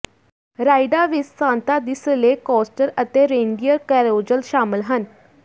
ਰਾਈਡਾਂ ਵਿਚ ਸਾਂਟਾ ਦੀ sleigh coaster ਅਤੇ ਰੇਇਨਡੀਅਰ ਕੈਰੋਜ਼ਲ ਸ਼ਾਮਲ ਹਨ